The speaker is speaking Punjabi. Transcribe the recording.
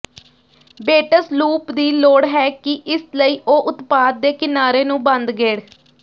ਬੇਟਸ ਲੂਪ ਦੀ ਲੋੜ ਹੈ ਕਿ ਇਸ ਲਈ ਉਹ ਉਤਪਾਦ ਦੇ ਕਿਨਾਰੇ ਨੂੰ ਬੰਦ ਗੇੜ